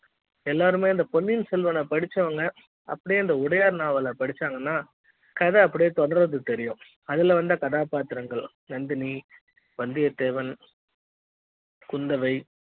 எல்லாருமே பொன்னியின் செல்வன படிச்சவங்க அப்படியே உடையார் நாவல படிச்சாங்கன்னா கதை அப்படியே தொடரது தெரியும் அதுல வந்த கதாபாத்திரங்கள் நந்தினி வந்தியத்தேவன் குந்தவை